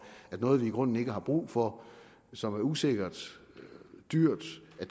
at noget vi i grunden ikke har brug for som er usikkert dyrt